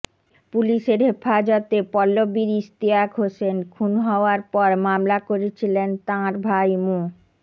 পুলিশের হেফাজতে পল্লবীর ইশতিয়াক হোসেন খুন হওয়ার পর মামলা করেছিলেন তাঁর ভাই মো